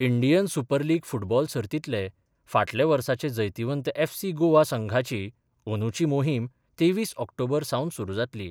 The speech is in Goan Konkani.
इंडियन सुपर लीग फुटबॉल सर्तीतले फाटले वर्साचे जैतिवंत एफसी गोवा संघाची अंदुची मोहीम तेवीस ऑक्टोबर सावन सुरू जातली.